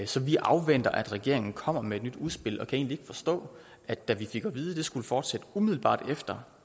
så vi afventer at regeringen kommer med et nyt udspil og kan egentlig forstå at vi fik at vide skulle fortsætte umiddelbart efter